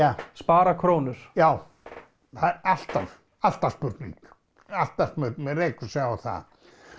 að spara krónur já það er alltaf alltaf spurning maður rekur sig á það